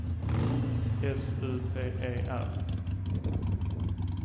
S U P E R